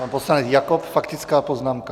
Pan poslanec Jakob, faktická poznámka.